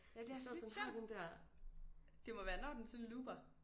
Ja det er altså lidt sjovt. Det må være den sådan looper